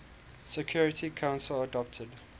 security council adopted